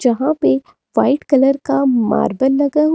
जहां पे white colour का मार्बल लगा हु--